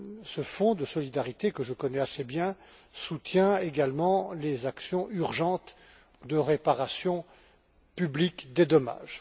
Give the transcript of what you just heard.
Ce Fonds de solidarité, que je connais assez bien, soutient également les actions urgentes de réparation publique des dommages.